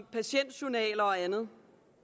patientjournaler og andet